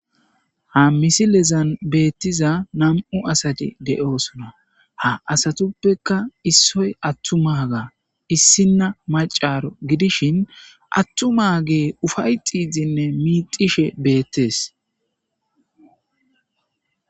Ha misilezan beettiza nam'u asati de'oosona ha asatuppekka issoy attu maga issinna macaro gidishin attu mage ufay xizinne miixishe beettees.